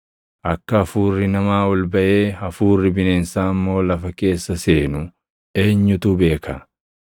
Akka hafuurri namaa ol baʼee hafuurri bineensaa immoo lafa keessa seenu eenyutu beeka?”